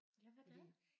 Ja hvad da?